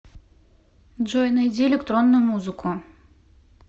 джой найди электронную музыку